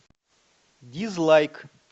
дизлайк